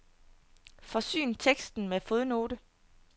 Forsyn teksten med fodnote.